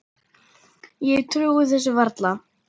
Ég trúi þessu varla.